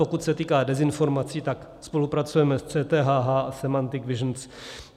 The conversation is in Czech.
Pokud se týká dezinformací, tak spolupracujeme s CTHH a Semantic Visions.